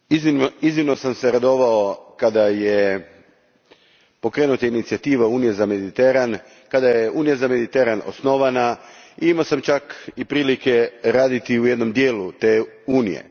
Gospodine predsjedniče, iznimno sam se radovao kad je pokrenuta inicijativa Unije za Mediteran i kada je Unija za Mediteran osnovana. Imao sam čak priliku raditi u jednom dijelu te Unije.